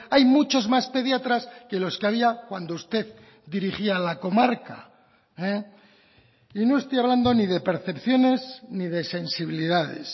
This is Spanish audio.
hay muchos más pediatras que los que había cuando usted dirigía la comarca y no estoy hablando ni de percepciones ni de sensibilidades